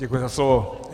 Děkuji za slovo.